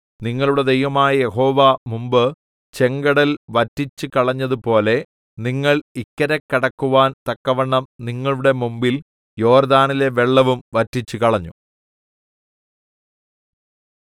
നിങ്ങളുടെ ദൈവമായ യഹോവ മുമ്പ് ചെങ്കടൽ വറ്റിച്ചുകളഞ്ഞതുപോലെ നിങ്ങൾ ഇക്കരെ കടക്കുവാൻ തക്കവണ്ണം നിങ്ങളുടെ മുമ്പിൽ യോർദ്ദാനിലെ വെള്ളവും വറ്റിച്ചുകളഞ്ഞു